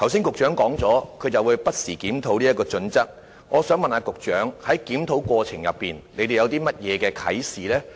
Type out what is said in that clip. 局長剛才表示會不時檢討有關標準，我想問局長，當局在檢討過程中得到甚麼啟示？